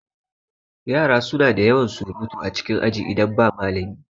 Yara suna da yawan surutu a cikin aji idan ba malami